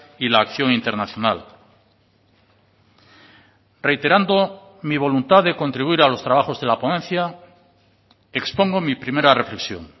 y la acción internacional reiterando mi voluntad de contribuir a los trabajos de la ponencia expongo mi primera reflexión